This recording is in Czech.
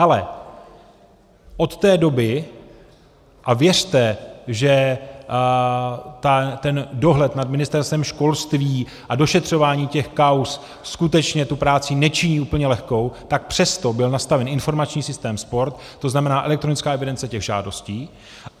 Ale od té doby, a věřte, že ten dohled nad Ministerstvem školství a došetřování těch kauz skutečně tu práci nečiní úplně lehkou, tak přesto byl nastaven informační systém Sport, to znamená elektronická evidence těch žádostí.